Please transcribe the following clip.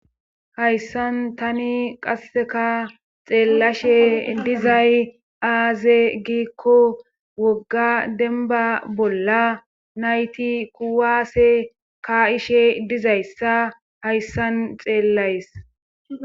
hayssan tani qasseka xeellashe dizay aaze giikko wogga denba bolla nayti kuwaase ka7ishe dizayssa hayssan xeellays